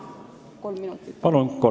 Palun kolm minutit lisaaega!